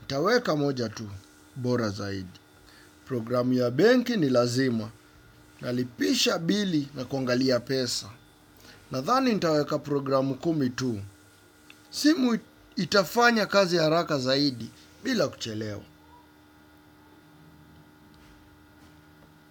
Nitaweka moja tu. Bora zaidi. Programu ya benki ni lazima. Nalipisha bili na kongalia pesa. Nathani nitaweka programu kumi tu. Simu itafanya kazi ya raka zaidi bila kuchelewa.